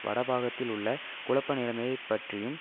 வடபாகத்தில் உள்ள குழப்ப நிலைமையை பற்றியும்